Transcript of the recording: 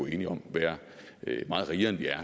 enige om være meget rigere end vi er